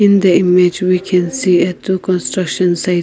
in the image we can see a two construction site.